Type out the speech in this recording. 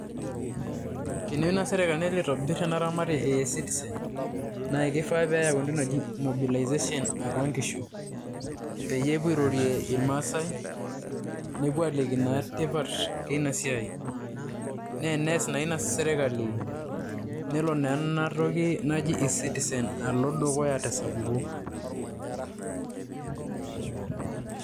Teneyeu naa sirkali nelo aitobir ena ramarei e eCitizen naake kifaa pee eyau entoki naji mobilization atua nkishu peyie epuo airorie irmaasai nepuo aaliki naa tipat eina siai. Naa enes naa ina sirkali nelo naa ena toki naji eCitizen alo dukuya te sapuko.